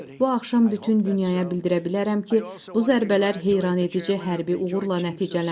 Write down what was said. Bu axşam bütün dünyaya bildirə bilərəm ki, bu zərbələr heyrətedici hərbi uğurla nəticələnib.